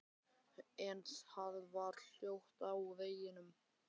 En það var hljótt á veginum.